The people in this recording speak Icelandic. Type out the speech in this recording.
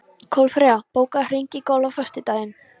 Kolfreyja, bókaðu hring í golf á föstudaginn.